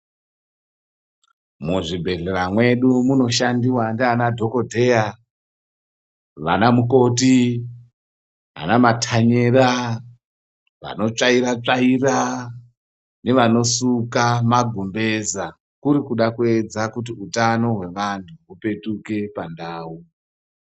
Mu zvibhedhlera mwedu muno shandiwa ndiana dhokodheya vana mukoti ana matanyera vano tsvaira tsvaira ne vano suka ma gumbeza kuri kuda kuedza kuti utano hwe vantu hupetuke pandau.